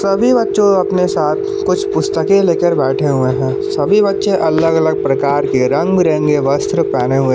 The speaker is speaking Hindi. सभी बच्चों अपने साथ कुछ पुस्तके लेकर बैठे हुए हैं सभी बच्चे अलग अलग प्रकार के रंग बिरंगे वस्त्र पहने हुए है--